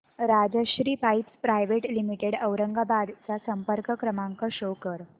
Rajshri pipes private limited Aurangabad चा संपर्क क्रमांक शो कर